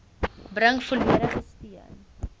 bring volledige steun